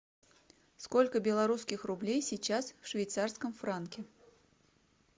сколько белорусских рублей сейчас в швейцарском франке